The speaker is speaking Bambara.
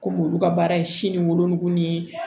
Kɔmi olu ka baara ye si ni wolonugu ni ye